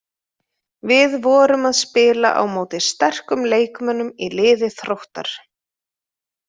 Við vorum að spila á móti sterkum leikmönnum í liði Þróttar.